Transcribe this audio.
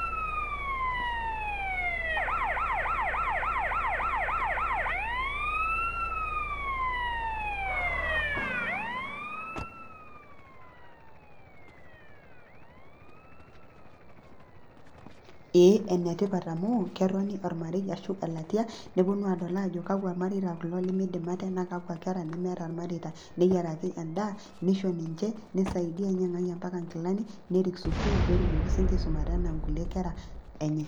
eenetipat amu ketoni ormarei ashu elatia ,nepuonu adol ajo kakwa mareita kulo limidim ate naa kakwa kera nemeeta imareta neyiaraki edaa, nisho niche ninyang'aki ampaka kilani esukul pee etumoki sii ninche aisumata anaa inkera enye.